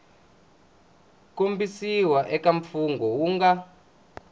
kombisiwa eka mfungho wu nga